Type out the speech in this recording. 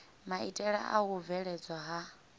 maitele a u bveledzwa ha